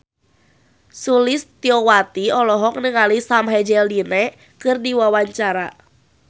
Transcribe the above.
Sulistyowati olohok ningali Sam Hazeldine keur diwawancara